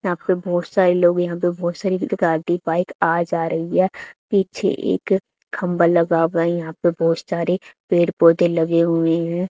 यहां पे बहुत सारे लोग यहां पे बहुत सारी गाड़ी बाइक आ जा रही है पीछे एक खंभा लगा हुआ है यहां पे बहुत सारे पेड़ पौधे लगे हुए हैं।